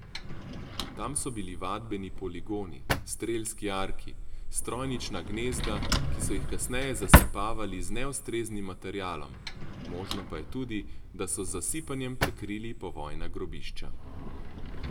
Tam so bili vadbeni poligoni, strelski jarki, strojnična gnezda, ki so jih kasneje zasipavali z neustreznim materialom, možno pa je tudi, da so z zasipanjem prekrili povojna grobišča.